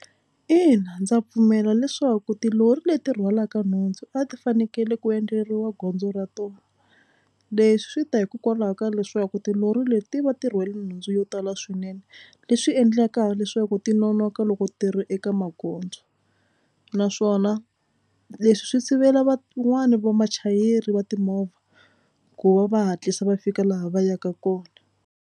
Ina ndza pfumela leswaku tilori leti rhwalaka nhundzu a ti fanekele ku endleriwa gondzo ra tona. Leswi swi ta hikokwalaho ka leswaku tilori leti ti va ti rhwale nhundzu yo tala swinene leswi endlaka leswaku ti nonoka loko tirha eka magondzo naswona leswi swi sivela van'wana va vachayeri va timovha ku va va hatlisa va fika laha va yaka kona.